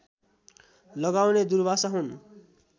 लगाउने दुर्वासा हुन्